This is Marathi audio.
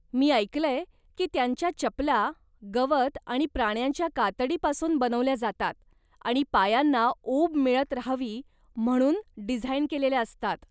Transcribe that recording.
मी ऐकलंय की त्यांच्या चपला, गवत आणि प्राण्यांच्या कातडी पासून बनवल्या जातात आणि पायांना उब मिळत राहावी म्हणू डिझाईन केलेल्या असतात.